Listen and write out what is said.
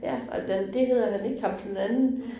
Ja, og den det hedder han ikke ham den anden